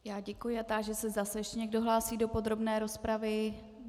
Já děkuji a táži se, zda se ještě někdo hlásí do podrobné rozpravy.